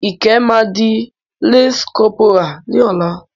Ìkẹ́ máa di lance corporal ní ọ̀la.